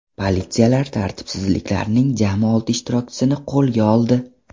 Politsiyalar tartibsizliklarning jami olti ishtirokchisini qo‘lga oldi.